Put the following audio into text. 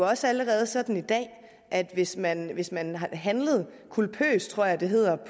også allerede sådan i dag at hvis man hvis man handlede culpøst tror jeg det hedder